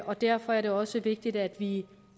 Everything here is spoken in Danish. og derfor er det også vigtigt at vi